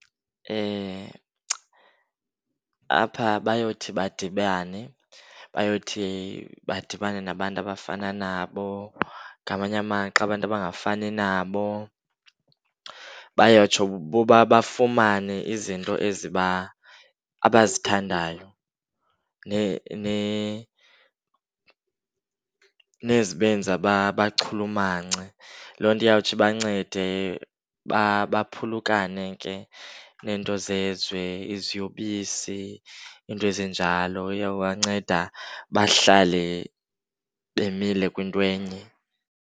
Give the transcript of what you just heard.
Apha bayothi badibane, bayothi badibane nabantu abafana nabo ngamanye amaxa abantu abangafani nabo. Bayotsho bafumane izinto eziba, abazithandayo nezibenza bachulumance. Loo nto iyawuthi ibancede baphulukane ke neento zezwe, iziyobisi, iinto ezinjalo. Iyobanceda bahlale bemile kwinto enye.